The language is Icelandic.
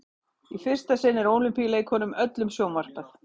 í fyrsta sinn er ólympíuleikunum öllum sjónvarpað